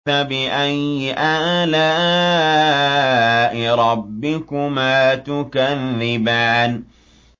فَبِأَيِّ آلَاءِ رَبِّكُمَا تُكَذِّبَانِ